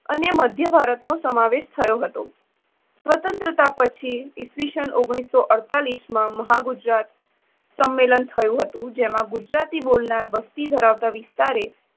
અને મધ્ય ભારતનો સમાવેશ થયો હતો. સ્વતંત્રતા પછી ઇસ ઓગણીસો અડતાલીશ માં મહાગુજરાત સંમેલન થયું જેમાં ગુજરાતી બોલનાર વસ્તી ધરાવતા વિસ્તારે